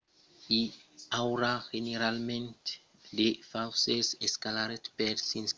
i aurà generalament de fraisses d'escolaritat per s'inscriure dins aqueles programas educacionals